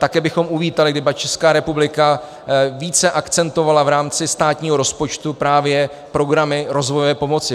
Také bychom uvítali, kdyby Česká republika více akcentovala v rámci státního rozpočtu právě programy rozvojové pomoci.